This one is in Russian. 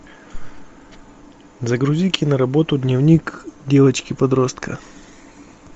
загрузи киноработу дневник девочки подростка